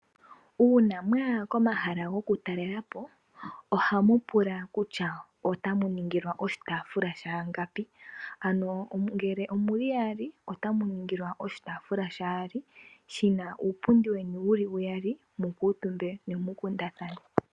Uuna mwaya komahala gokutalelapo ohamu pulwa kutya otamu ningilwa oshitaafula shayangapi, ano ngele omuli yaali otamu ningilwa oshitaafula shayaali shina uupundi weni wuli uyali mukuutumbe nemukundathane.